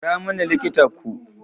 Kira mani likita ku.